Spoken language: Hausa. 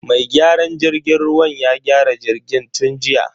Mai gyaran jirgin ruwan ya gyara jirgin tun jiya.